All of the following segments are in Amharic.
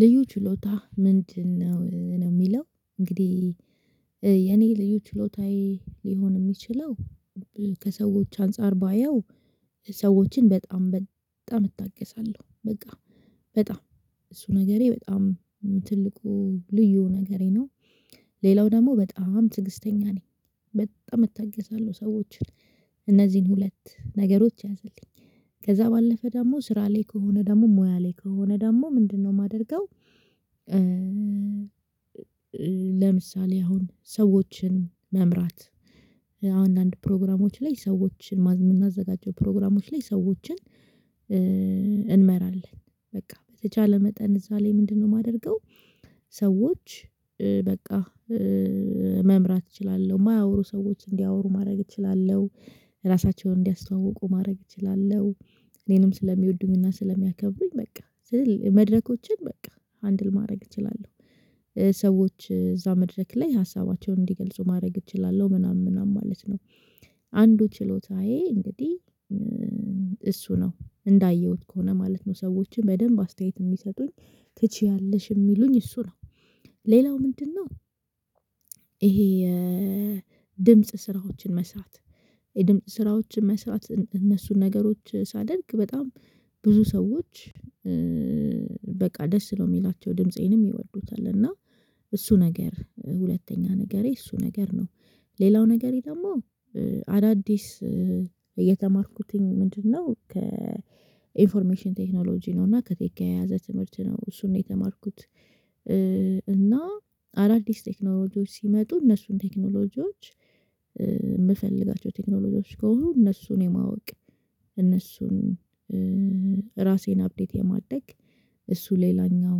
ልዩ ችሎታ ምንድነው ነው? የሚለው እንግዲህ የኔ ልዩ ችሎታዬ ሊሆን የሚችለው ከሰዎች አንፃር ባየው ሰዎችን በጣም በጣም እታገሳለሁ በቃ በጣም እሱ ነገሬ በጣም ትልቁ ልዩ ነገሬ ነው። ሌላው ደግሞ በጣም ትግስተኛ ነኝ በጣም እታገሳለሁ ሰዎችን እነዚህን ሁለት ነገሮች ያዘልኝ ከዛ ባለፈ ደግሞ ስራ ላይ ከሆነ ደግሞ ሙያ ላይ ከሆነ ደግሞ ምንድነው የማደርገው? ለምሳሌ አሁን ሰዎችን መምራት አንዳንድ ፕሮግራሞች ላይ ሰዎችን የምናዘጋጀው ፕሮግራሞች ላይ ሰዎችን እንመራለን። በቃ በተቻለ መጠን እዛ ላይ ምንድነው የማደርገው? ሰዎች በቃ መምራት እችላለሁ የማያወሩ ሰዎች እንዲያወሩ ማድረግ እችላለሁ። ራሳቸውን እንዲያስተዋውቁ ማድረግ እችላለሁ። እኔንም ስለሚወዱኝ እና ስለሚያከብሩኝ በቃ መድረኮችን በቃ ሃንድል ማድረግ እችላለሁ። ሰዎች እዛ መድረክ ላይ ሀሳባቸውን እንዲገልጹ ማድረግ እችላለሁ ምናምን ምናምን ማለት ነው። አንዱ ችሎታዬ እንግዲህ እሱ ነው እንዳየሁት ከሆነ ማለት ነው። ሰዎችን በደንብ አስተያየት የሚሰጡኝ ትችያለሽ የሚሉኝ እሱ ነው። ሌላው ምንድነው? የድምጽ ስራዎችን መስራት የድምጽ ስራዎችን መስራት እነሱን ነገሮች ሳደርግ በጣም ብዙ ሰዎች በቃ ደስ ነው የሚላቸው ድምፄንም ይወዱታል እና እሱ ነገር ሁለተኛ ነገሬ እሱ ነገር ነው። ሌላው ነገሪ ደግሞ አዳዲስ የተማርኩትኝ ምንድነው? ከኢንፎርሜሽን ቴክኖሎጂ ነው እና ከቴክ ጋር የተያያዘ ትምህርት ነው እሱን ነው የተማርኩት። እና አዳዲስ ቴክኖሎጂዎች ሲመጡ እነሱን ቴክኖሎጂዎች የምፈልጋቸው ቴክኖሎጂዎች ከሆኑ እነሱን የማወቅ እነሱን ራሴን አፕዴት የማድረግ እሱ ሌላኛው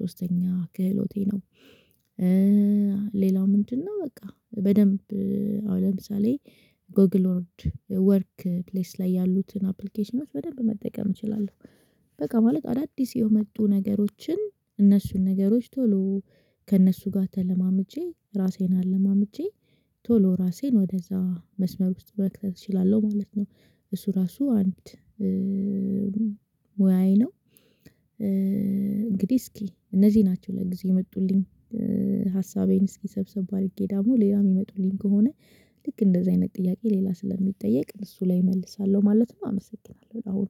ሶስተኛው ክህሎቴ ነው። ሌላው ምንድነው? በቃ በደንብ አሁን ለምሳሌ ጎግል ወርክ ፕሌስ ላይ ያሉትን አፕሊኬሽኖች በደንብ መጠቀም እችላለሁ። በቃ ማለት አዳዲስ የመጡ ነገሮችን እነሱን ነገሮች ቶሎ ከእነሱ ጋር ተለማምጄ ራሴን አለማምጄ ቶሎ ራሴን ወደዛ መስመር ውስጥ መክተት እችላለሁ ማለት ነው። እሱ ራሱ አንድ ሙያዬ ነው። እንግዲህ እስኪ እነዚህ ናቸው ለጊዜው የመጡልኝ ሀሳቤን እስኪሰብሰብ አድርጌ ደግሞ ሌላ የሚመጡልኝ ከሆነ ልክ እንደዚህ አይነት ጥያቄ ሌላ ስለሚጠየቅ እሱ ላይ እመልሳለሁ ማለት ነው። አመሰግናለሁ አሁን